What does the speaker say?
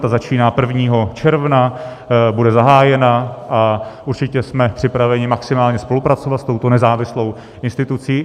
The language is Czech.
Ta začíná, 1. června bude zahájena, a určitě jsme připraveni maximálně spolupracovat s touto nezávislou institucí.